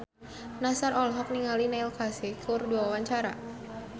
Nassar olohok ningali Neil Casey keur diwawancara